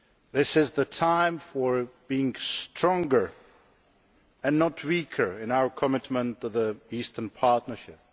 This is the time for being stronger and not weaker in our commitment to the Eastern Partnership.